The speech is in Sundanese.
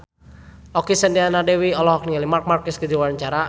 Okky Setiana Dewi olohok ningali Marc Marquez keur diwawancara